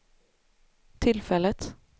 tillfället